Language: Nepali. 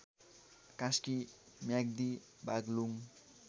कास्की म्याग्दी बाग्लुङ